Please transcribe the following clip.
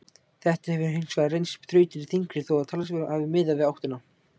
Þetta hefur hins vegar reynst þrautin þyngri þó að talsvert hafi miðað í áttina.